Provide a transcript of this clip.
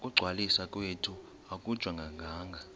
ukungcwaliswa kwethu akujongananga